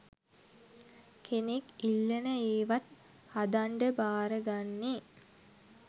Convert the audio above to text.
කෙනෙක් ඉල්ලන ඒවත් හදන්ඩ භාරගන්නේ.